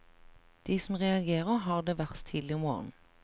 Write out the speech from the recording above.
De som reagerer, har det verst tidlig om morgenen.